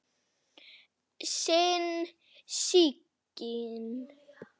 Þín Sigyn.